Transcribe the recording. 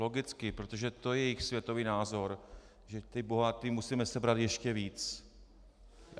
Logicky, protože to je jejich světový názor, že těm bohatým musíme sebrat ještě víc.